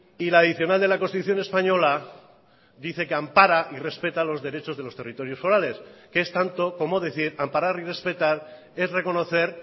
y la adicional de la constitución española dice que ampara y respeta los derechos de los territorios forales que es tanto como decir amparar y respetar es reconocer